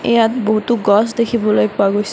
ইয়াত বহুতো গছ দেখিবলৈ পোৱা গৈছে।